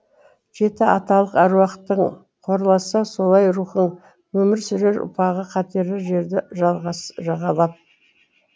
жеті аталық әруақтың қорласа солай рухын өмір сүрер ұрпағы қатерлі жарды жағалап